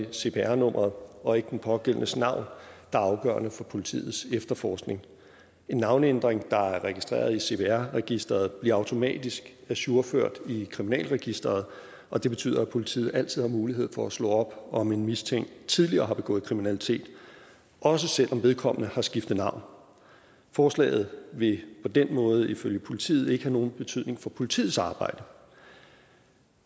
er cpr nummeret og ikke den pågældendes navn der er afgørende for politiets efterforskning en navneændring der er registreret i cpr registeret bliver automatisk ajourført i kriminalregisteret og det betyder at politiet altid har mulighed for at slå op om en mistænkt tidligere har begået kriminalitet også selv om vedkommende har skiftet navn forslaget vil på den måde ifølge politiet ikke have nogen betydning for politiets arbejde